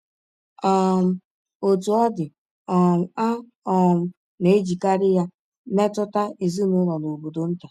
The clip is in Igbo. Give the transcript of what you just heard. um Otú ọ dị, um a um na-ejikarị ya metụta ezinụlọ na obodo nta.